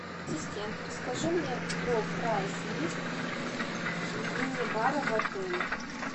ассистент расскажи мне про прайс лист мини бара в отеле